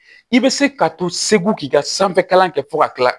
I bɛ se ka to segu k'i ka sanfɛ kalan kɛ fo ka kila